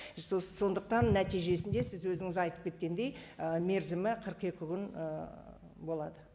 сондықтан нәтижесінде сіз өзіңіз айтып кеткендей і мерзімі қырық екі күн ііі болады